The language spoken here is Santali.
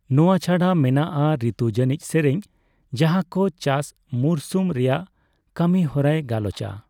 ᱱᱚᱣᱟ ᱪᱷᱟᱰᱟ ᱢᱮᱱᱟᱜᱼᱟ ᱨᱤᱛᱩ ᱡᱟᱹᱱᱤᱡ ᱥᱮᱨᱮᱧ ᱡᱟᱦᱟᱸ ᱠᱚ ᱪᱟᱥ ᱢᱩᱨᱥᱩᱢ ᱨᱮᱭᱟᱜ ᱠᱟᱹᱢᱤ ᱦᱚᱨᱟᱭ ᱜᱟᱞᱚᱪᱟ ᱾